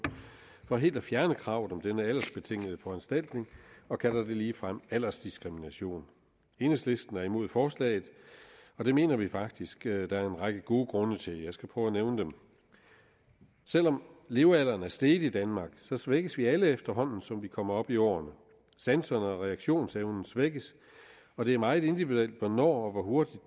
for helt at fjerne kravet om denne aldersbetingede foranstaltning og kalder det ligefrem aldersdiskrimination enhedslisten er imod forslaget og det mener vi faktisk at der er en række gode grunde til jeg skal prøve at nævne dem selv om levealderen er steget i danmark svækkes vi alle efterhånden som vi kommer op i årene sanserne og reaktionsevnen svækkes og det er meget individuelt hvornår og hvor hurtigt